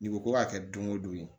N'i ko ko k'a kɛ don o don yen